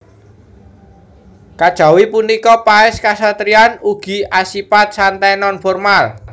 Kajawi punika paès kasatriyan ugi asipat santai non formal